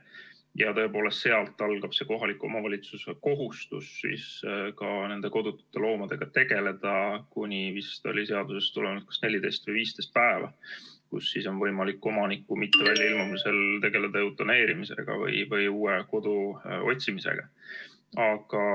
Ja tõepoolest, sealt algab kohaliku omavalitsuse kohustus ka nende kodutute loomadega tegeleda, vist oli seadusest tulenevalt kas 14 või 15 päeva, pärast on võimalik omaniku mitte väljailmumisel tegeleda eutaneerimisega või uue kodu otsimisega.